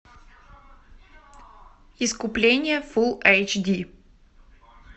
искупление фул эйч ди